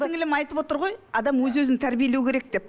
сіңілім айтып отыр ғой адам өз өзін тәрбиелеу керек деп